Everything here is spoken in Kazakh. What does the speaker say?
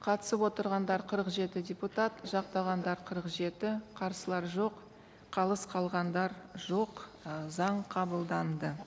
қатысып отырғандар қырық жеті депутат жақтағандар қырық жеті қарсылар жоқ қалыс қалғандар жоқ ы заң қабылданды